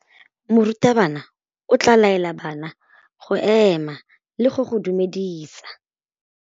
Morutabana o tla laela bana go ema le go go dumedisa.